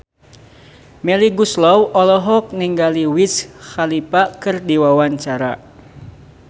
Melly Goeslaw olohok ningali Wiz Khalifa keur diwawancara